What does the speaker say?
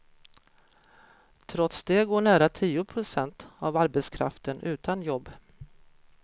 Trots det går nära tio procent av arbetskraften utan jobb.